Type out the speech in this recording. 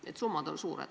Need summad on suured.